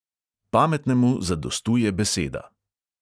Pametnemu zadostuje beseda!